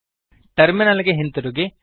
terminal ಗೆ ಹಿಂತಿರುಗಿ